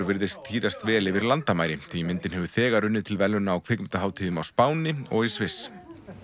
virðist þýðast vel yfir landamæri því myndin hefur þegar unnið til verðlauna á kvikmyndahátíðum á Spáni og í Sviss